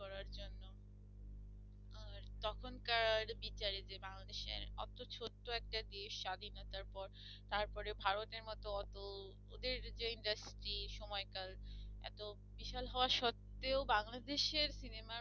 তখনকার বিচারে যে বাংলাদেশ অত ছোট্ট একটা দেশ স্বাধীনতার পর তারপরে ভারতের মত অত ওদের যে industry সময়কাল এত বিশাল হওয়া সত্বেও বাংলাদেশের সিনেমা